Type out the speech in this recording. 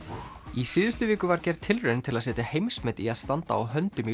í síðustu viku var gerð tilraun til að setja heimsmet í að standa á höndum í